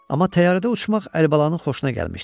Amma təyyarədə uçmaq Əlibalanın xoşuna gəlmişdi.